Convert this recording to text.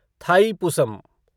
Thaipusam